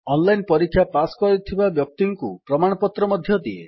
online ପରୀକ୍ଷା pass କରିଥିବା ବ୍ୟକ୍ତିଙ୍କୁ ପ୍ରମାଣପତ୍ର ମଧ୍ୟ ଦିଏ